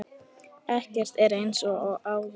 Ekkert er eins og áður.